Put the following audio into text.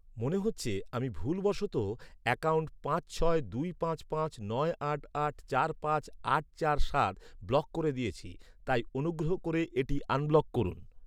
মনে হচ্ছে আমি ভুলবশত অ্যাকাউন্ট পাঁচ ছয় দুই পাঁচ পাঁচ নয় আট আট চার পাঁচ আট চার সাত ব্লক করে দিয়েছি তাই অনুগ্রহ করে এটি আনব্লক করুন।